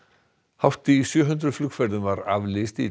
hátt í sjö hundruð flugferðum var aflýst í